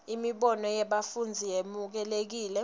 imibono yebafundzi yemukelekile